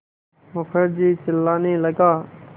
मुखर्जी चिल्लाने लगा